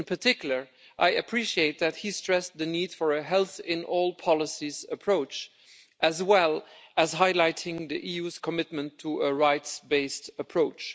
In particular, I appreciate that he stressed the need for a health in all policies' approach, as well as highlighting the EU's commitment to a rights-based approach.